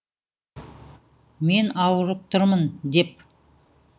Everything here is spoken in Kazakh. мен ауырып тұрмын деп